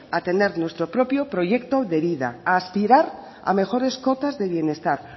a tener nuestro propio proyecto de vida a aspirar a mejores cuotas de bienestar